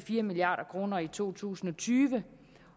fire milliard kroner i to tusind og tyve